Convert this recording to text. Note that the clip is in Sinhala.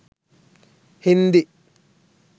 hindi